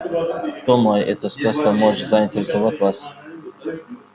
думаю эта сказка может заинтересовать вас